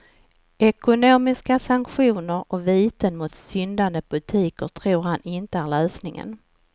Ekonomiska sanktioner och viten mot syndande butiker tror han inte är lösningen.